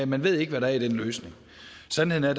man ved ikke hvad der er i den løsning sandheden er